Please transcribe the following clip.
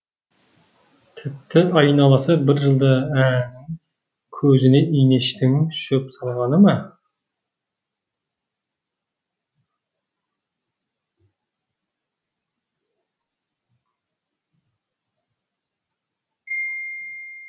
тіпті айналасы бір жылда ә көзіне инештің шөп салғаны ма